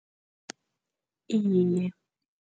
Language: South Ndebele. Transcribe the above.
Iye.